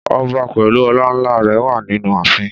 Ọba pèlú ọlà ńlá rè wà nínú àfin